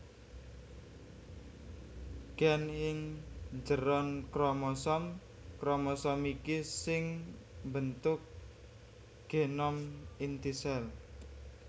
Gen ing njeron kromosom kromosom iki sing mbentuk genom inti sel